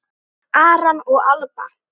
Aron og Alba.